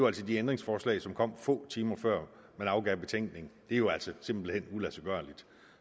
altså de ændringsforslag som kom få timer før man afgav betænkningen det er jo altså simpelt hen uladsiggørligt